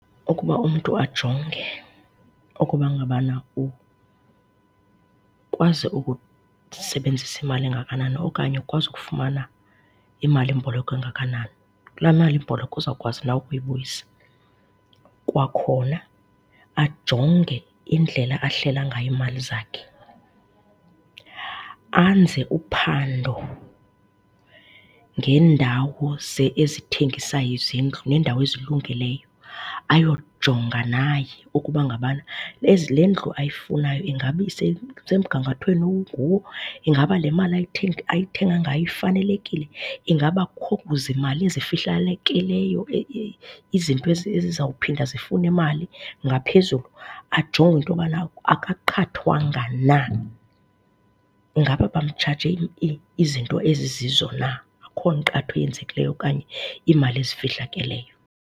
Ukuba umntu ajonge ukuba ngabana ukwazi ukusebenzisa imali engakanani okanye ukwazi ukufumana imalimboleko engakanani, kulaa malimboleko uzawukwazi na ukuyibuyisa. Kwakhona ajonge indlela ahlela ngayo iimali zakhe, anze uphando ngeendawo ezithengisayo izindlu neendawo ezilungileyo, ayojonga naye ukuba ngaba le ndlu ayifunayo ingaba isemgangathweni owunguwo, ingaba le mali ayithenga ngayo ifanelekile, ingaba akukho zimali zifihlalekileyo izinto ezizowuphinda zifune imali ngaphezulu. Ajonge into yobona akaqathwanga na, ngaba bamtshaje izinto ezizizo na, akukho nkqatho eyenzekileyo okanye imali ezifihlakeleyo.